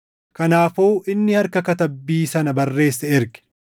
Kanaafuu inni harka katabbii sana barreesse erge.